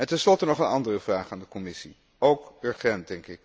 Tenslotte nog een andere vraag aan de Commissie, ook urgent.